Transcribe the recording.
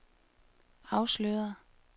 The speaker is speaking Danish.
afsløret